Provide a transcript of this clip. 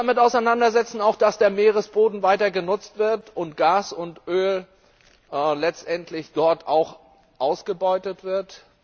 Wir müssen uns auch damit auseinandersetzen, dass der Meeresboden weiter genutzt wird und Gas und Öl dort letztendlich auch ausgebeutet wird.